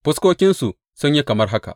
Fuskokinsu sun yi kamar haka.